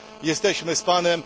Jesteśmy z Panem.